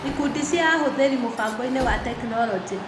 Ikundi cia ahũthĩri mũbangoinĩ wa tekinoronjĩ.